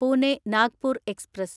Pune Nagpur express